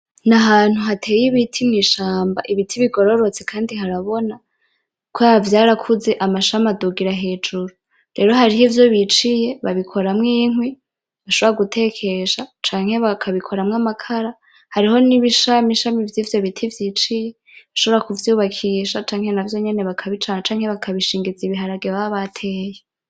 Nahantu hateye ibiti mw'ishamba ibiti bigororotse kandi harabona, kubera vyarakuze amashami adugira hejuru. rero harivyo biciye babikuramwo inkwi bashobora gutekesha canke bakabikuramwo amakara, hariho n'ibishamishami vyivyo biti biciye bashobora kubakisha canke gucanisha canke bakabishingiza ibiharage baba bateye.